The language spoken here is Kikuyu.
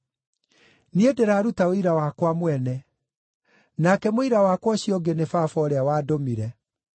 Niĩ ndĩraruta ũira wakwa mwene; nake mũira wakwa ũcio ũngĩ nĩ Baba ũrĩa wandũmire.”